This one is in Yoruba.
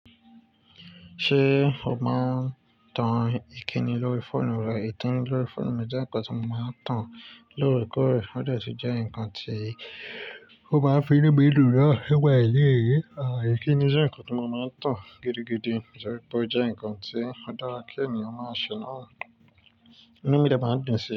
Ṣé o máa ń tan ìkíni lórí fóònù rẹ? Ìkini lórí fóònù mi jẹ́ nǹkan tí mo máa ń tàn lóòrèkóòrè, ó detí jẹ́ nǹkan tí ó maá fi inú mi dùn naa nípa èlé. Àìì, ìkíni jẹ́ nǹkan tí mo máa ń tàn gidigidi, ṣùgbọ́n jẹ́ nǹkan tí ó dára kí ènìyàn máa ṣe náà. Inú mi de máá dùn sí i.